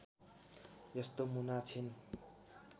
यस्तो मुना छिन्